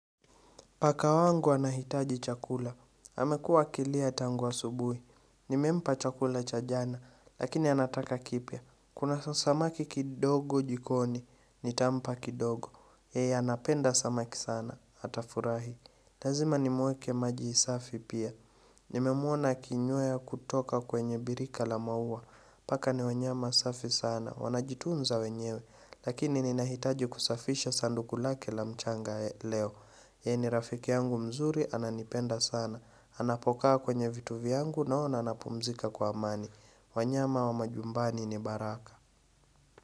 Paka wangu anahitaji chakula. Hamekua akilia tangua asubuhi. Nimempa chakula cha jana, lakini anataka kipia. Kuna samaki kidogo jikoni, nitampa kidogo. Hei anapenda samaki sana, atafurahi. Lazima nimweke maji safi pia. Nimemwona kinyue kutoka kwenye birika la mauwa. Paka ni wanyama safi sana, wanajitunza wenyewe. Lakini ninahitaji kusafisha sanduku lake la mchanga leo. Yeye ni rafiki yangu mzuri ananipenda sana. Anapokaa kwenye vitu vyangu naona anapumzika kwa amani. Wanyama wa majumbani ni baraka.